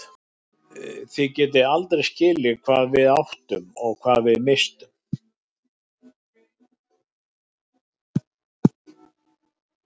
Þið getið aldrei skilið hvað við áttum og hvað við misstum.